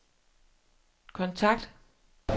kontakt